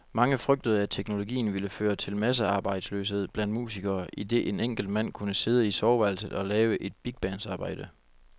Mange frygtede, at teknologien ville føre til massearbejdsløshed blandt musikere, idet en enkelt mand kunne sidde i soveværelset og lave et bigbands arbejde.